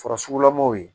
Farasugulamaw ye